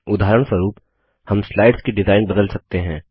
उदाहरणस्वरूप हम स्लाइड्स की डिजाइन बदल सकते हैं